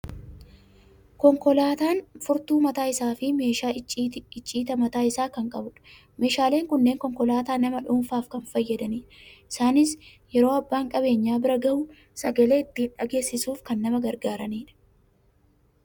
Konkolaataan furtuu mataa isaa fi meeshaa icciitaa mataa isaa kan qabudha. Meeshaaleen kunneen konkolaataa nama dhuunfaaf kan fayyadanidha. Isaanis yeroo abbaan qabeenyaa bira gahu sagalee ittiin dhageessisuuf kan nama gargaaranidha.